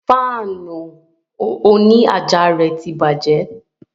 Fáànù òní àjà rẹ̀ tí bàjẹ́